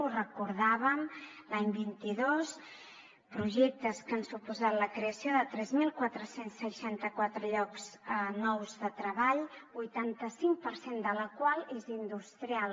ho recordàvem l’any vint dos projectes que han suposat la creació de tres mil quatre cents i seixanta quatre llocs nous de treball vuitanta cinc per cent de la qual és industrial